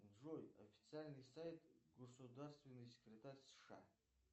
джой официальный сайт государственный секретарь сша